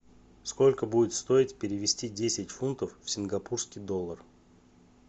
сколько будет стоить перевести десять фунтов в сингапурский доллар